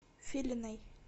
филиной